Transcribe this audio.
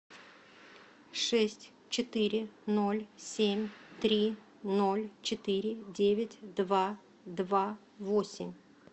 шесть четыре ноль семь три ноль четыре девять два два восемь